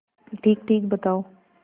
ठीकठीक बताओ